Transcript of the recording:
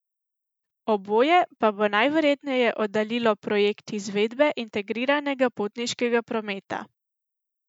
Oboje pa bo najverjetneje oddaljilo projekt izvedbe integriranega potniškega prometa.